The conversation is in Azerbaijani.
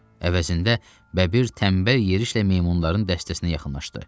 Əvəzində bəbir tənbəl yerişlə meymunların dəstəsinə yaxınlaşdı.